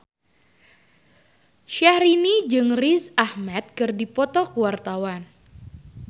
Syahrini jeung Riz Ahmed keur dipoto ku wartawan